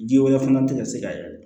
Ji wɛrɛ fana tɛ se ka yɛlɛ